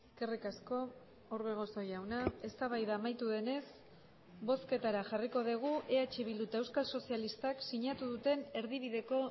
eskerrik asko orbegozo jauna eztabaida amaitu denez bozketara jarriko dugu eh bildu eta euskal sozialistak sinatu duten erdibideko